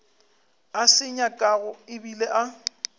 a se nyakago ebile a